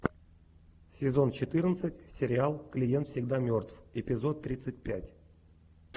сезон четырнадцать сериал клиент всегда мертв эпизод тридцать пять